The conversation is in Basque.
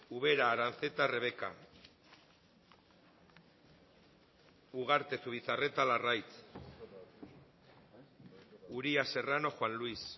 ubera aranzeta rebeka ugarte zubizarreta larraitz uria serrano juan luis